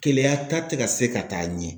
Keleya ta te ka se ka taa ɲɛ.